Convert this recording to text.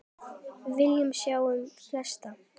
Við viljum sjá sem flesta.